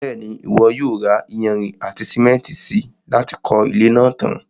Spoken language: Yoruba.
Bẹ́ẹ̀ni, Ìwọ yóò ra iyanrìn àti sìmẹ́ntì si láti kọ́ ilé náà tan.